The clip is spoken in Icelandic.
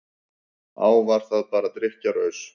Á, var það bara drykkjuraus?